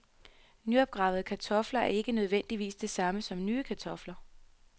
Nyopgravede kartofler er ikke nødvendigvis det samme som nye kartofler.